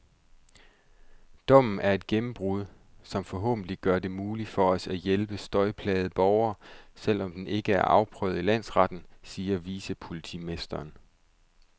Dommen er et gennembrud, som forhåbentlig gør det muligt for os at hjælpe støjplagede borgere, selv om den ikke er afprøvet i landsretten, siger vicepolitimesteren.